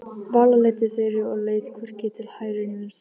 Vala leiddi Þuru og leit hvorki til hægri né vinstri.